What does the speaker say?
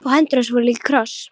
Og hendur hans voru líka í kross.